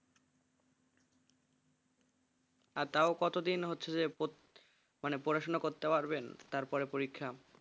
আর তাও কতদিন হচ্ছে যে পর মানে পড়াশোনা করতে পারবেন তারপর এ পরীক্ষা।